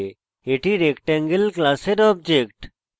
এটি rectangle class object